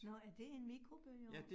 Nåh, er det en mikrobølgeovn